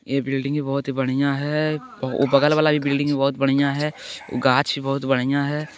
ये बिल्डिंग बहोत ही बढ़िया है ओ बगल वाला बिल्डिंग भी बहोत बढ़िया है गाछ भी बहोत बढ़िया हैं।